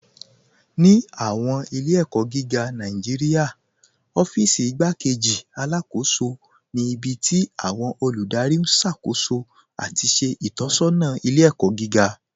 Ní awọn ilẹ̀-ẹ̀kọ giga Nàìjíríà, ọ̀fíìsí Ìgbàkéjì Alákóṣọ ni ibi tí awọn olúdárí n ṣákóṣó ati ṣe itọsọna ilẹ̀-ẹ̀kọ giga.